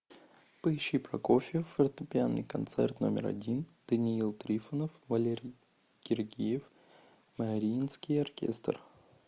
поищи прокофьев фортепианный концерт номер один даниил трифонов валерий гергиев мариинский оркестр